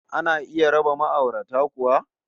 Ana iya raba ma'aurata kuwa?